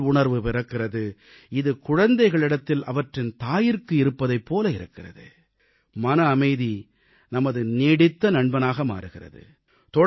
பொறுத்தல் உணர்வு பிறக்கிறது இது குழந்தைகளிடத்தில் அவற்றின் தாயிற்கு இருப்பதைப் போல இருக்கிறது மன அமைதி நமது நீடித்த நண்பனாக மாறுகிறது